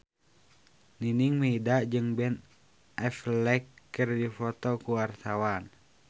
Nining Meida jeung Ben Affleck keur dipoto ku wartawan